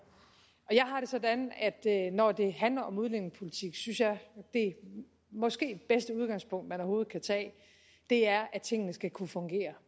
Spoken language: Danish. jeg har det sådan at når det handler om udlændingepolitik synes jeg at det måske bedste udgangspunkt man overhovedet kan tage er at tingene skal kunne fungere